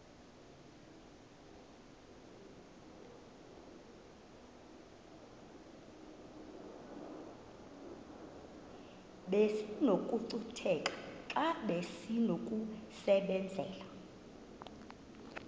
besinokucutheka xa besinokubenzela